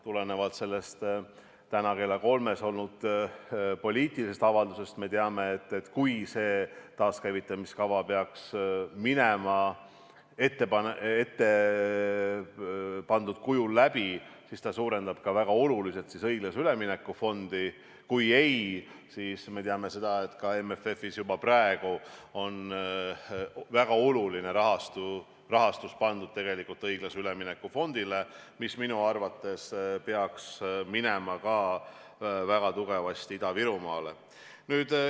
Tulenevalt sellest täna kell kolm esitatud poliitilisest avaldusest me teame, et kui see taaskäivitamiskava peaks minema ettepandud kujul läbi, siis see suurendab väga oluliselt õiglase ülemineku fondi, kui ei, siis me teame, et ka MFF-is juba praegu on väga oluline rahastus pandud tegelikult õiglase ülemineku fondile, mis minu arvates peaks minema väga tugevasti ka Ida-Virumaale.